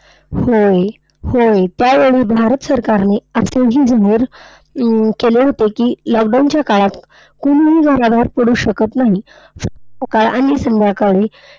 होय, होय. त्यावेळी भारत सरकारने असेही जाहीर केले होते की, lockdown च्या काळात कोणीही घराबाहेर पडू शकत नाही. का आणि संध्याकाळी